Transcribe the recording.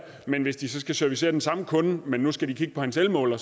men hvis de skal servicere den samme kunde men nu skal kigge på hans elmåler